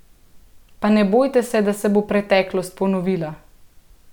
Pa ne bojte se, da se bo preteklost ponovila!